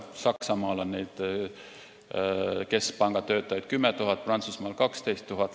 Saksamaal on keskpanga töötajaid 10 000, Prantsusmaal 12 000.